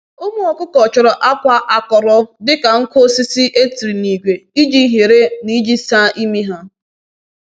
Ụmụ ọkụkọ chọrọ akwa akọrọ dịka nkụ osisi e tiri n’ígwé iji hiere na iji saa ímị ha.